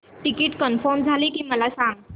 ticket confirm झाले की मला सांग